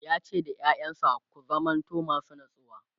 yace da ƴaƴansa "ku zamanto masu natsuwa!"